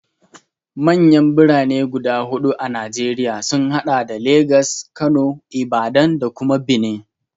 Manyan Birane guda huɗu a Najeriya sun haɗa da Legas, Kano, Ibadan da kuma Benin.